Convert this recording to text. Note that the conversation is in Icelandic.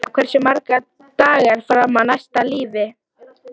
Eirfinna, hversu margir dagar fram að næsta fríi?